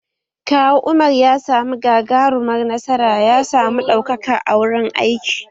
Kawu Umar ya samu gagarumar nasara ya samu ɗaukaka a wurin aiki